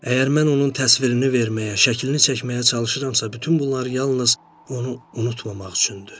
Əgər mən onun təsvirini verməyə, şəklini çəkməyə çalışıramsa, bütün bunları yalnız onu unutmamaq üçündür.